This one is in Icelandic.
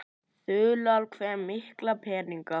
Þulur: Hve mikla peninga?